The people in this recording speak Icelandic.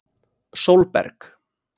Sólberg